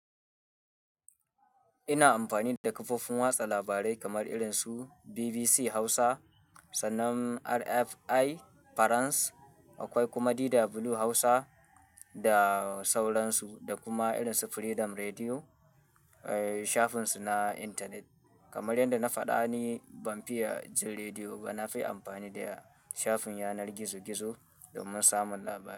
Ina amfani da kafofin watsa labarai kamar irin su BBC Hausa, sannan RFI France, akwai kuma DW Hausa da sauran su, da kuma irin su Freedom Radio, eh, shafinsu na intanet. Kamar yadda na faɗa ne, ban fiya jin rediyo ba. Na fi amfani da shafin yanar gizo-gizo domin samun labarai.